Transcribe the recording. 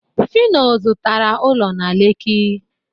phyno zụtara ụlọ na lekki